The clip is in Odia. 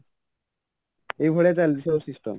ଏଇ ଭଳିଆ ଚାଲିଛି ସବୁ system